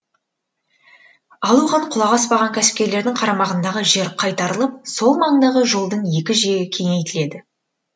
ал оған құлақ аспаған кәсіпкерлердің қарамағындағы жер қайтарылып сол маңдағы жолдың екі жие кеңейтіледі